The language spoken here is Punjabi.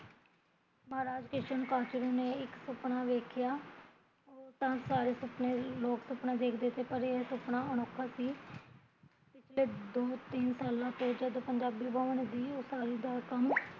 ਮਹਰਾਜ ਕਿਸ਼ਨ ਕਾਸ਼ਰੂ ਨੇ ਇੱਕ ਸੁਪਨਾ ਵੇਖਿਆ ਉਹ ਤਾਂ ਸਾਰੇ ਲੋਕ ਸੁਪਨਾ ਸੁਪਨੇ ਦੇਖਦੇ ਪਰ ਏਹ ਸੁਪਨਾ ਅਨੋਖਾ ਸੀ ਪਿਛਲੇ ਦੋ ਤਿਨ ਸਾਲਾਂ ਤੋਂ ਜੜ ਪੰਜਾਬੀ ਬਵੰ ਦੀ ਉਸਾਰੀ ਦਾ ਕੰਮ